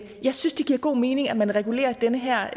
jeg synes det giver god mening at man regulerer den her